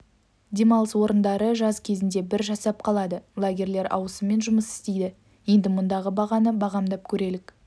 демалыс орындары жаз кезінде бір жасап қалады лагерьлер ауысыммен жұмыс істейді енді мұндағы бағаны бағамдап көрелік